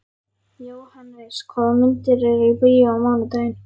Jóhannes, hvaða myndir eru í bíó á mánudaginn?